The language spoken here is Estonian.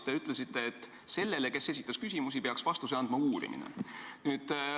Te ütlesite, et sellele, kes esitas neid küsimusi, peaks vastuse andma uurimine.